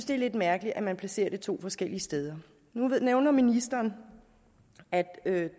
det er lidt mærkeligt at man placerer det to forskellige steder nu nævner ministeren at